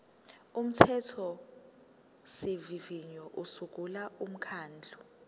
umthethosivivinyo usungula umkhandlu